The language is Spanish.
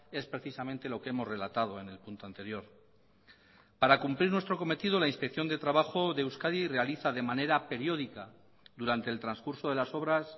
es precisamente lo que hemos relatado en el punto anterior para cumplir nuestro cometido la inspección de trabajo de euskadi realiza de manera periódica durante el transcurso de las obras